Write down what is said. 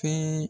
Fɛn